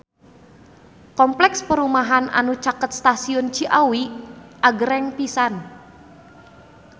Kompleks perumahan anu caket Stasiun Ciawi agreng pisan